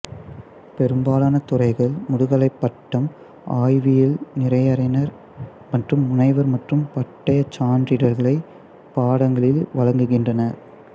பெரும்பாலான துறைகள் முதுகலைப் பட்டம் ஆய்வியல் நிறைஞர் மற்றும் முனைவர் மற்றும் பட்டயச் சான்றிதழ்களைப் பாடங்களில் வழங்குகின்றன